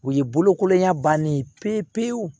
U ye bolokolonya bannen ye pewu pewu